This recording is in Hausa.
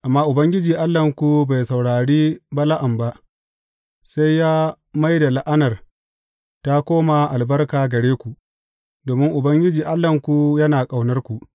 Amma Ubangiji Allahnku bai saurari Bala’am ba, sai ya mai da la’anar ta koma albarka gare ku, domin Ubangiji Allahnku yana ƙaunarku.